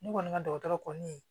Ne kɔni ka dɔgɔtɔrɔ kɔni